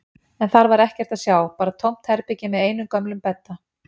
En þar var ekkert að sjá, bara tómt herbergi með einum gömlum bedda.